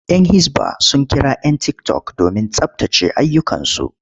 Yan hisba sun kira 'yan tiktok domin tsabtace ayyukansu.